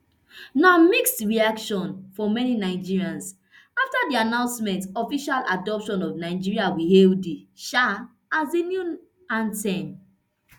na mixed reaction for many nigerians afta di announcment official adoption of nigeria we hail thee um as di new anthem